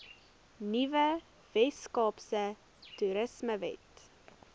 nuwe weskaapse toerismewet